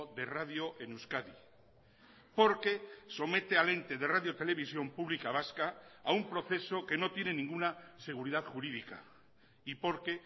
de radio en euskadi porque somete al ente de radio televisión pública vasca a un proceso que no tiene ninguna seguridad jurídica y porque